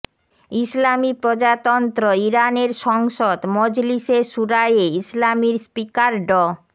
ইসলামি প্রজাতন্ত্র ইরানের সংসদ মজলিশে শুরায়ে ইসলামির স্পিকার ড